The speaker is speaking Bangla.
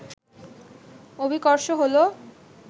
অভিকর্ষ হলো